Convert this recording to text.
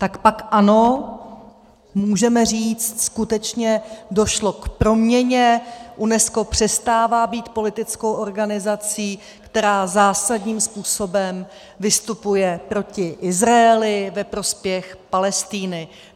Tak pak ano, můžeme říct, skutečně došlo k proměně, UNESCO přestává být politickou organizací, která zásadním způsobem vystupuje proti Izraeli ve prospěch Palestiny.